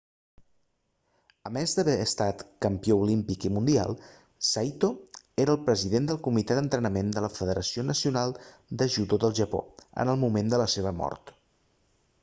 a més d'haver estat campió olímpic i mundial saito era el president del comitè d'entrenament de la federació nacional de judo del japó en el moment de la seva mort